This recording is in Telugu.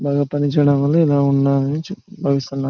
బాగా పనిచేయడం వల్ల ఇలా ఉన్నారని .]